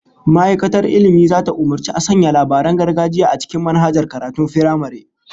Ma'aikatar Ilmi zata umurci a sanya labaran gargajiya a cikin manhajan karatun firamare